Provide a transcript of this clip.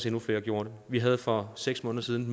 endnu flere gjorde det vi havde for seks måneder siden